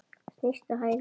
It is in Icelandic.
Snýst á hæli.